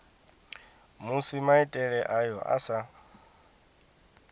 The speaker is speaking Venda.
musi maitele ayo a sa